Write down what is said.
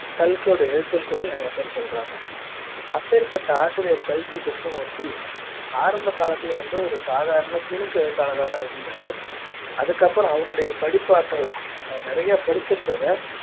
கல்கியோட எழுத்துன்னு கூட நிறைய பேர் சொல்றாங்க அப்பேர்ப்பட்ட ஆசிரியர் கல்கி கிருஷ்ணமூர்த்தி ஆரம்ப காலத்தில் வந்து சாதாரண ஒரு துணுக்கு எழுத்தாளரா தான் இருந்தாரு அதுக்கப்புறம் அவரோட படிப்பாற்றல் அவர் நிறைய படிச்சிருந்தத